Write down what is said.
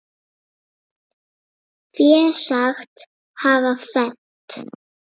Fé sagt hafa fennt.